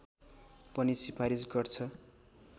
पनि सिफारिस गर्छ